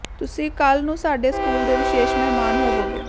ਤੁਸੀਂ ਕੱਲ੍ਹ ਨੂੰ ਸਾਡੇ ਸਕੂਲ ਦੇ ਵਿਸ਼ੇਸ਼ ਮਹਿਮਾਨ ਹੋਵੋਗੇ